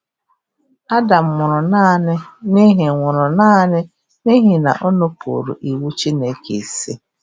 Adam nwụrụ naanị n’ihi nwụrụ naanị n’ihi na o nupụụrụ iwu Chineke isi